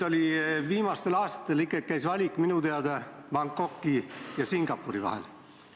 Viimastel aastatel kaaluti valikut minu teada Bangkoki ja Singapuri vahel.